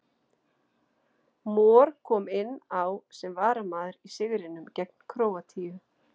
Mor kom inn á sem varamaður í sigrinum gegn Króatíu.